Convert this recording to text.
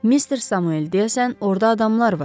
Mister Samuel deyəsən orda adamlar var.